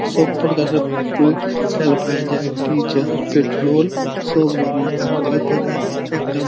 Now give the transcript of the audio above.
সব প্রকারের প- তেল পায়া যায়। ডিজেল পেট্রোল সব রকমের ওই কটায় একটা--